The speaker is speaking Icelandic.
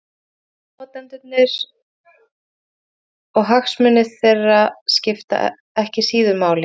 Málnotendurnir og hagsmunir þeirra skipta ekki síður máli.